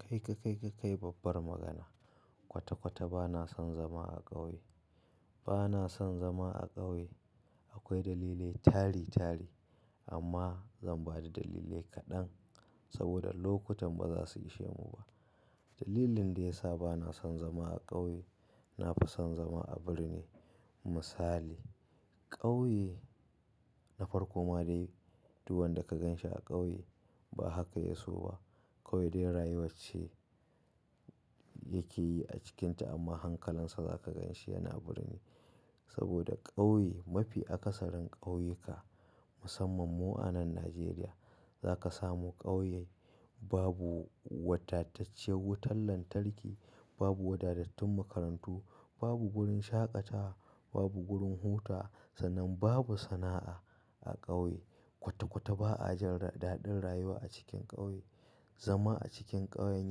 Kai ka kai ka kai babbar magana. Kwata-kwata bana son zama a ƙauye. Bana son zama a ƙauye akwai dalilai tari-tari amma zan bada dalilai kaɗan saboda lokutan ba za su ishe mu ba. Dalilin da ya sa bana son zama a ƙauye, na fi son zama a birni misali ƙauye na farko ma dai du wan da ka ganshi a ƙauye ba haka ya so ba. Kawai dai rayuwar ce yake yi a cikinta amma hankalinsa za ka ganshi yana birni. Saboda ƙauye mafi akasarin ƙauyuka musamman mu a nan Najeriya za ka samu ƙauye babu wadatacciyar wutar lantarki, babu wadatattun makarantu, babu gurin shaƙatawa, babu gurin hutawa sannan babu sana'a a ƙauye. Kwata-kwata ba ajin daɗin rayuwa a cikin ƙauye. Zama a cikin ƙauyen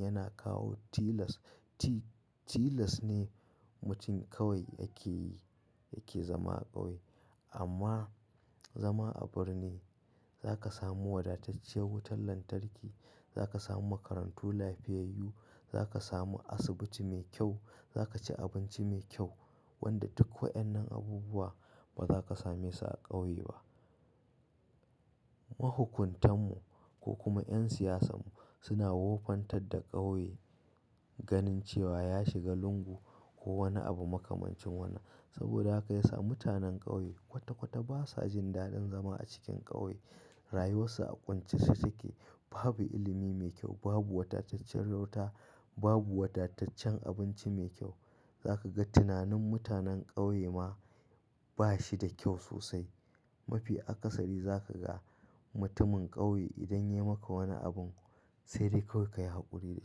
yana kawo tilas. Tilas ne mutum kawai yake yi yake zama a ƙauye amma zama a birni za ka samu wadatacciyar wutar lantarki, za ka samu makarantu lafiyayyu, za ka samu asibiti mai kyau, za ka ci abinci mai kyau wanda duk waɗannan abubuwa ba za ka same su a ƙauye ba. Mahukuntan mu ko kuma 'yan siyasan mu suna wofantar da ƙauye ganin cewa ya shiga lungu ko wani abu makamancin wannan. Saboda haka ya sa mutanen ƙauye kwata-kwata basa jin daɗin zama a cikin ƙauye. Rayuwarsu a ƙuntace take. Babu ilimi mai kyau, babu wadataccen wuta, babu wadataccen abinci mai kyau. Za ka ga tunanin mutanen ƙauye ma ba shi da kyau sosai. Mafi akasari za ka ga mutumin ƙauye idan ya yi maka wani abin sai dai kawai ka yi haƙuri da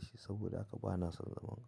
shi saboda haka bana son zaman ƙauye.